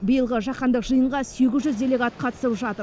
биылғы жаһандық жиынға сегіз жүз делегат қатысып жатыр